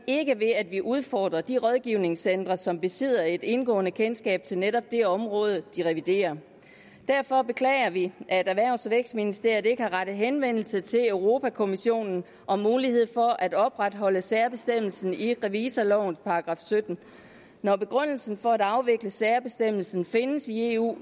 ikke ved at vi udfordrer de rådgivningscentre som besidder et indgående kendskab til netop det område de reviderer derfor beklager vi at erhvervs og vækstministeriet ikke har rettet henvendelse til europa kommissionen om mulighed for at opretholde særbestemmelsen i revisorlovens § syttende når begrundelsen for at afvikle særbestemmelsen findes i eu